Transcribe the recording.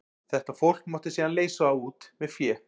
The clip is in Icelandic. Þetta fólk mátti síðan leysa út með fé.